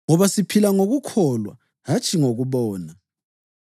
Ngoba siphila ngokukholwa hatshi ngokubona.